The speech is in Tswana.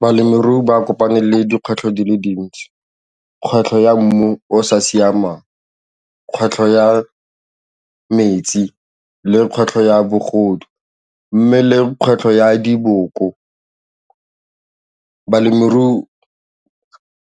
Balemirui ba kopane le dikgwetlho di le dintsi, kgwetlho ya mmu o o sa siamang, kgwetlho ya metsi le kgwetlho ya bogodu mme le kgwetlho ya diboko. Balemirui